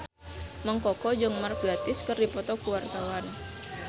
Mang Koko jeung Mark Gatiss keur dipoto ku wartawan